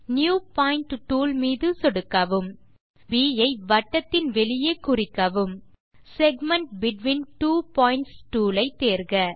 new point tool மீது சொடுக்கவும் புள்ளி ப் ஐ வட்டத்தின் வெளியே குறிக்கவும் segment between two points tool ஐ தேர்க